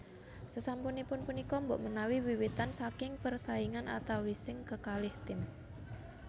Sasampunipun punika mbok menawi wiwitan saking persaingan antawising kekalih tim